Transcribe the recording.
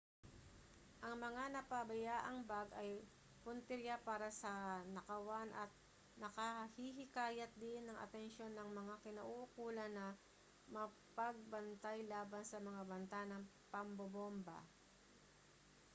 ang mga napabayaang bag ay puntirya para sa nakawan at nakahihikayat din ng atensyon ng mga kinauukulan na mapagbantay laban sa mga banta ng pambobomba